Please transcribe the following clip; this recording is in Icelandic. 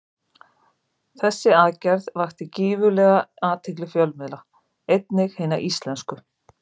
Þessi aðgerð vakti gífurlega athygli fjölmiðla, einnig hinna íslensku.